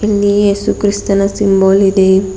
ಇಲ್ಲಿ ಏಸು ಕ್ರಿಸ್ತನ ಸಿಂಬಲ್ ಇದೆ.